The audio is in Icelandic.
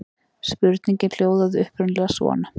Spurningin hljóðaði upprunalega svona: